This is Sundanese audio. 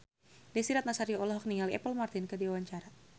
Desy Ratnasari olohok ningali Apple Martin keur diwawancara